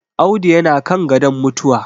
Audu yana kan gadon mutuwa